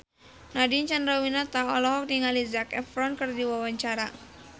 Nadine Chandrawinata olohok ningali Zac Efron keur diwawancara